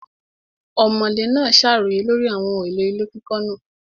Ọ̀mọ̀lé náà ṣàròyé lórí àwọn ohun èlò ilé kíkọ́ náà.